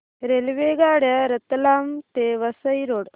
रेल्वेगाड्या रतलाम ते वसई रोड